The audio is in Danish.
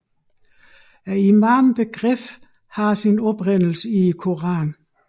Imambegrebet har sin oprindelse i Koranen